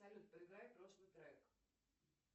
салют проиграй прошлый трек